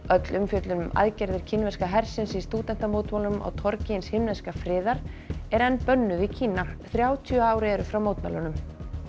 öll umfjöllun um aðgerðir kínverska hersins í stúdentamótmælunum á torgi hins himneska friðar er enn bönnuð í Kína þrjátíu ár eru frá mótmælunum